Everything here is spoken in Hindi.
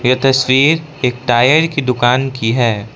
ये तस्वीर एक टायर की दुकान की है।